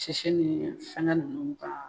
Sisɛ ni fɛngɛ ninnu ka